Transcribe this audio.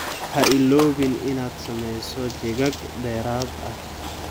Ha iloobin inaad samayso jeegag dheeraad ah.